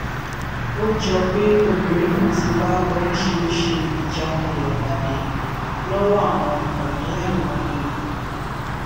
ó jọ pé obìnrin náà ti bá oríṣiríṣiì ìjákulẹ pàdé lọwọ àwọn ọkùnrin láìmọye ìgbà